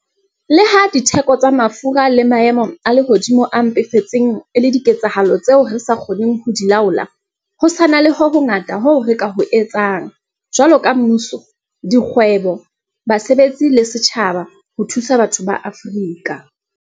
Le ha ditheko tsa mafura le maemo a lehodimo a mpefetseng e le diketsahalo tseo re sa kgoneng ho di laola, ho sa na le ho hongata hoo re ka ho etsang, jwaloka mmuso, dikgwebo, basebetsi le setjhaba, ho thusa batho ba Afrika